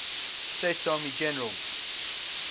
states army generals